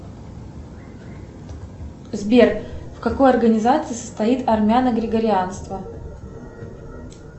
сбер в какой организации состоит армяно грегорианство